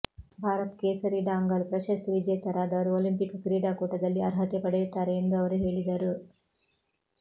ಭಾರತ್ ಕೇಸರಿ ಡಾಂಗಲ್ ಪ್ರಶಸ್ತಿ ವಿಜೇತರಾದವರು ಒಲಿಂಪಿಕ್ ಕ್ರೀಡಾಕೂಟದಲ್ಲಿ ಅರ್ಹತೆ ಪಡೆಯುತ್ತಾರೆ ಎಂದು ಅವರು ಹೇಳಿದರು